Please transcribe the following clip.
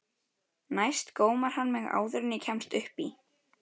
Næst gómar hann mig áður en ég kemst upp í.